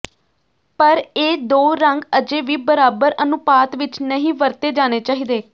ਪਰ ਇਹ ਦੋ ਰੰਗ ਅਜੇ ਵੀ ਬਰਾਬਰ ਅਨੁਪਾਤ ਵਿਚ ਨਹੀਂ ਵਰਤੇ ਜਾਣੇ ਚਾਹੀਦੇ